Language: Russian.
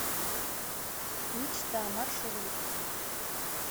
мечта маршрут